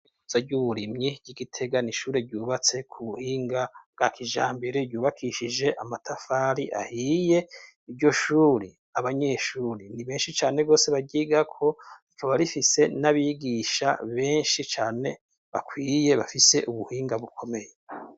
Zaryuwrimyi ry'igitegana ishure ryubatse ku buhinga bwa kija mbere ryubakishije amatafari ahiye iryo shuri abanyeshuri ndi benshi cane rwose bagiga korikaba rifise n'abigisha benshi cane bakwiye bafise ubuhinga bukomeye.